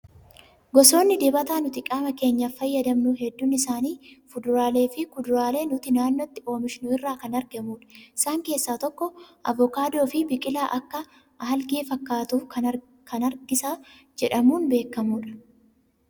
Gosoonni dibataa nuti qaama keenyaaf fayyadamnu hedduun isaanii fuduraalee fi kuduraalee nuti naannootti oomishnu irraa kan argamudha. Isaan keessaa tokko avokaadoo fi biqilaa akka aalgee fakkaatu kan hargisa jedhamuun beekamudha